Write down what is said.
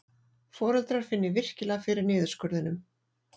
Foreldrar finni virkilega fyrir niðurskurðinum